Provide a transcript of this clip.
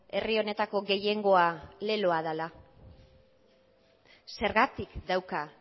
herri honetako gehiengoa leloa dela zergatik dauka